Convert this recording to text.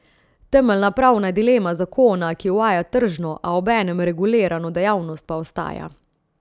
Temeljna pravna dilema zakona, ki uvaja tržno, a obenem regulirano dejavnost pa ostaja.